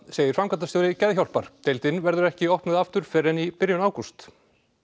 segir framkvæmdastjóri Geðhjálpar deildin verður ekki opnuð aftur fyrr en í byrjun ágúst